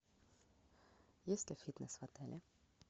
есть ли фитнес в отеле